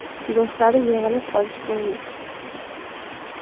Do‘stlari yig‘ilib qolishgandi.